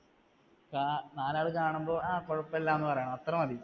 കാ നാലാള് കാണുമ്പോൾ ആ കുഴപ്പമില്ല എന്ന് പറയണം അത്രമതി